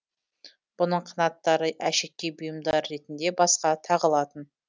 бұның қанаттары әшекей бұйымдары ретінде басқа тағылатын